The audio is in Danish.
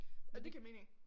Ja det giver mening